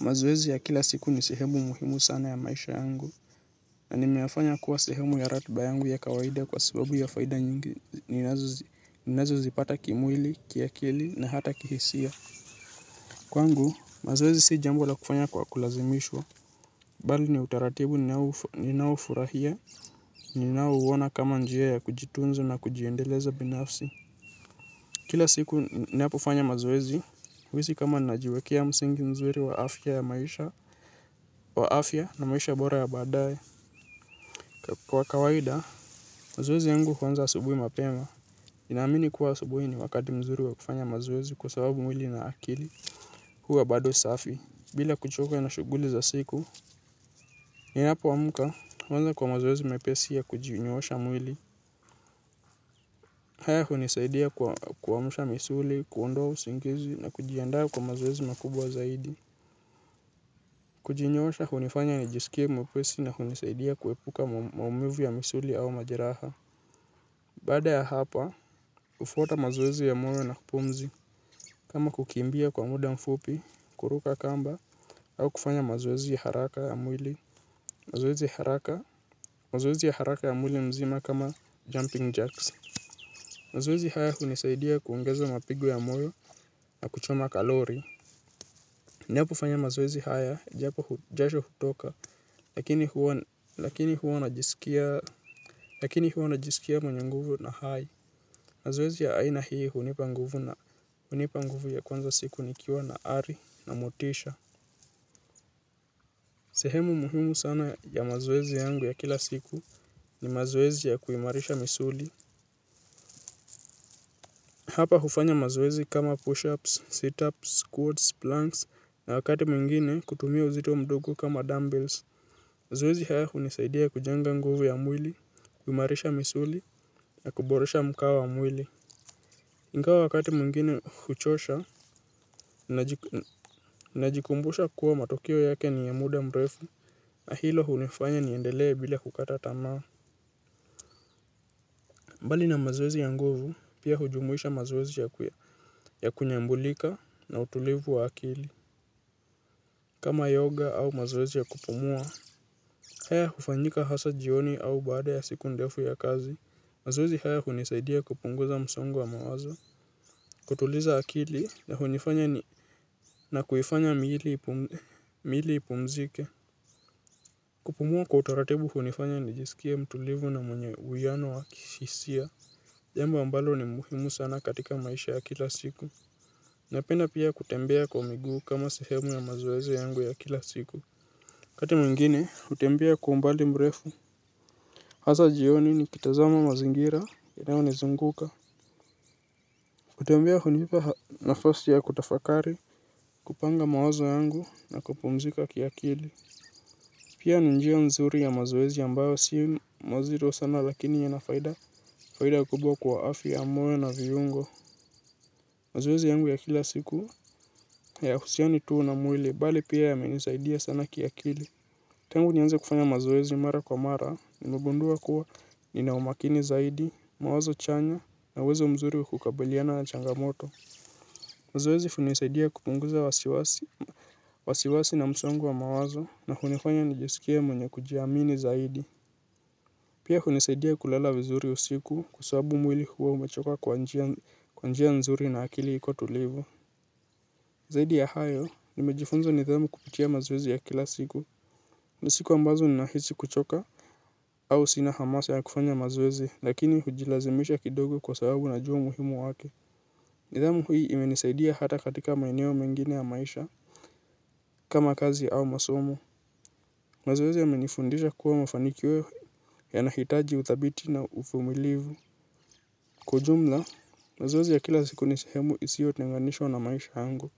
Mazoezi ya kila siku ni sehemu muhimu sana ya maisha yangu na nimeyafanya kuwa sehemu ya ratiba yangu ya kawaida kwa sababu ya faida nyingi ninazozipata kimwili kiakili na hata kihisia. Kwangu mazoezi si jambo la kufanywa kwa kulazimishwa bali ni utaratibu ninaoufurahia ninaouona kama njia ya kujitunza na kujiendeleza binafsi. Kila siku ninapifanya mazoezi, huhisi kama najiwekea msingi mzuri wa afya na maisha bora ya baadaye. Kwa kawaida, mazoezi yangu huanza asubuhi mapema. Ninaamini kuwa asubuhi ni wakati mzuri wa kufanya mazoezi kwa sababu mwili na akili huwa bado safi. Bila kuchoka na shughuli za siku, ninapoamka huanza kwa mazoezi mepesi ya kujinyoosha mwili. Haya hunisaidia kuamusha misuli, kuondoa usingizi na kujiandaa kwa mazoezi makubwa zaidi. Kujinyoosha hunifanya nijisikie mwepesi na hunisaidia kuepuka maumivu ya misuli au majeraha. Baada ya hapa, hufuata mazoezi ya moyo na pumzi. Kama kukimbia kwa muda mfupi, kuruka kamba, au kufanya mazoezi ya haraka ya mwili. Mazoezi ya haraka ya mwili mzima kama jumping jacks. Mazoezi haya hunisaidia kuongeza mapigo ya moyo na kuchoma kalori. Ninapofanya mazoezi haya japo jasho hutoka, lakini huwa najisikia mwenye nguvu na hai. Mazoezi ya aina hii hunipa nguvu ya kuanza siku nikiwa na ari na motisha. Sehemu muhimu sana ya mazoezi yangu ya kila siku ni mazoezi ya kuimarisha misuli. Hapa hufanya mazoezi kama push-ups, sit-ups, squats, planks na wakati mwingine kutumia uzito mdogo kama dumbbells. Mazoezi haya hunisaidia kujenga nguvu ya mwili, kuimarisha misuli ya kuboresha mkao wa mwili. Ingawa wakati mwingine huchosha najikumbusha kuwa matokeo yake ni ya muda mrefu na hilo hunifanya niendelee bila kukata tamaa. Mbali na mazoezi ya nguvu pia hujumuisha mazoezi ya kunyambulika na utulivu wa akili. Kama yoga au mazoezi ya kupumua, haya hufanyika hasa jioni au baada ya siku ndefu ya kazi. Mazoezi haya hunisaidia kupunguza msongo wa mawazo. Kutuliza akili ya hunifanya ni na kuifanya miili ipumzike. Kupumua kwa utaratibu hunifanya nijisikie mtulivu na mwenye uwiano wa kihisia. Jamba ambalo ni muhimu sana katika maisha ya kila siku. Napenda pia kutembea kwa miguu kama sehemu ya mazoezi yangu ya kila siku wakati mwingine, hutembea kwa umbali mrefu. Hasa jioni nikitazama mazingira, yanayonizunguka. Kutembea hunipa nafasi ya kutafakari, kupanga mawazo yangu na kupumzika kiakili. Pia ni njia nzuri ya mazoezi ambayo si mazito sana lakini yana faida. Faida kubwa kwa afya ya moyo na viungo. Mazoezi yangu ya kila siku hayahusiani tu na mwili, bali pia yamenisaidia sana kiakili. Tangu nianze kufanya mazoezi mara kwa mara, nimegundua kuwa nina umakini zaidi, mawazo chanya, na uwezo mzuri wa kukabiliana na changamoto. Mazoezi hunisaidia kupunguza wasiwasi na msongo wa mawazo, na hunifanya nijisikie mwenye kujiamini zaidi. Pia hunisaidia kulala vizuri usiku kwa sababu mwili huwa umechoka kwa njia nzuri na akili iko tulivu. Zaidi ya hayo, nimejifunza nidhamu kupitia mazoezi ya kila siku. Ni siku ambazo ninahisi kuchoka au sina hamasa ya kufanya maoezi lakini hujilazimisha kidogo kwa sababu najua umuhimu wake. Nidhamu hii imenisaidia hata katika maeneo mengine ya maisha kama kazi au masomo. Mazoezi yamenifundisha kuwa mafanikio yanahitaji uthabiti na uvumilivu. Kwa ujumla, mazoezi ya kila siku ni sehemu isiyotenganishwa na maisha yangu.